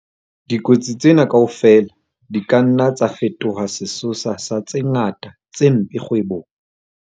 Dikotsi tsena kaofela di ka nna tsa fetoha sesosa sa tse ngata tse mpe kgwebong.